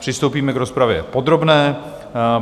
Přistoupíme k rozpravě podrobné.